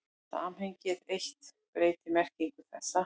Samhengið eitt breytir merkingu þeirra.